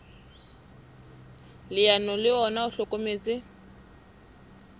leano le ona o hlokometse